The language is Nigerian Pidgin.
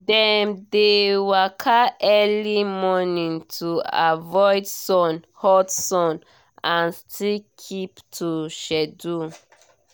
dem dey waka early morning to avoid hot sun and still keep to schedule